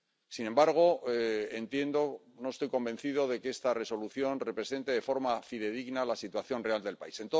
Sin embargo, no estoy convencido de que esta Resolución represente de forma fidedigna la situación real del país.